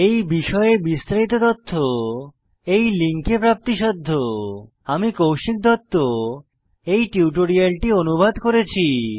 এই বিষয়ে বিস্তারিত তথ্য এই লিঙ্কে প্রাপ্তিসাধ্য httpspoken tutorialorgNMEICT Intro আমি কৌশিক দত্ত এই টিউটোরিয়ালটি অনুবাদ করেছি